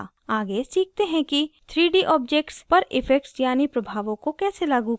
आगे सीखते हैं कि 3d objects पर effects यानि प्रभावों को कैसे लागू करते हैं